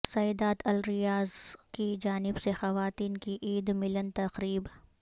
سیدات الریاض کی جانب سے خواتین کی عید ملن تقریب